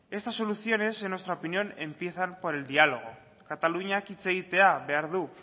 esas soluciones en nuestra opinión empiezan por el diálogo kataluniak hitz egitea behar du